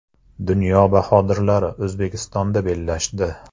Dunyo bahodirlari O‘zbekistonda bellashdi .